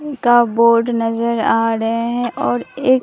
का बोर्ड नजर आ रहे हैं और एक--